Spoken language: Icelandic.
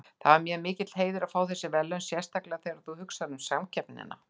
Það er mér mikill heiður að fá þessi verðlaun sérstaklega þegar þú hugsar um samkeppnina.